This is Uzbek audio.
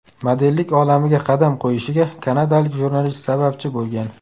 Modellik olamiga qadam qo‘yishiga kanadalik jurnalist sababchi bo‘lgan.